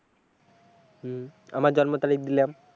হম আমার জন্ম তারিখ দিলাম।